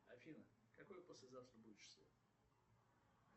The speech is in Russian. афина какое послезавтра будет число